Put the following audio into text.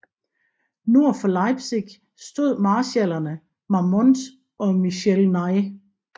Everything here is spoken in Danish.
Nord for Leipzig stod marskallerne Marmont og Michel Ney